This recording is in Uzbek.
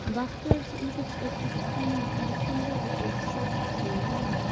Baxtiyor Saidov O‘zbekistonning Filippindagi elchisi etib tayinlandi.